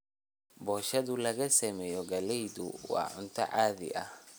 Boshadhaa lagasameeye galleydha waa cunto caadi ah.